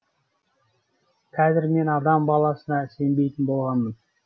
қазір мен адам баласына сенбейтін болғанмын